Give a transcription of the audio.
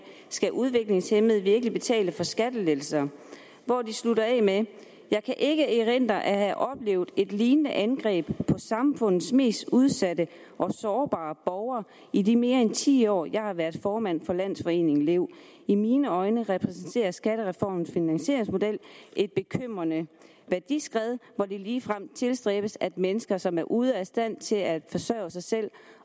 skal udviklingshæmmede virkelig betale for skattelettelser hvor de slutter af med jeg kan ikke erindre at have oplevet et lignende angreb på samfundets mest udsatte og sårbare borgere i de mere end ti år jeg har været formand for landsforeningen lev i mine øjne repræsenterer skattereformens finansieringsmodel et bekymrende værdiskred hvor det ligefrem tilstræbes at mennesker som er ude af stand til at forsørge sig selv